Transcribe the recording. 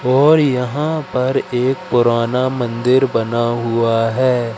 और यहां पर एक पुराना मंदिर बना हुआ है।